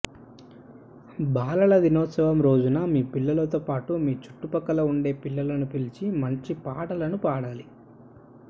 బాలల దినోత్సవం రోజున మీ పిల్లలతో పాటు మీ చుట్టుపక్కల ఉండే పిల్లలను పిలిచి మంచి పాటలను పాడాలి